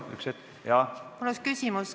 Mul on üks küsimus.